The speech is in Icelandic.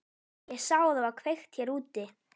Ég sá að það var kveikt hér úti.